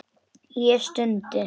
Ég stundi.